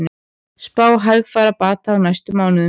Spá hægfara bata á næstu mánuðum